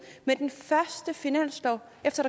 med den første finanslov efter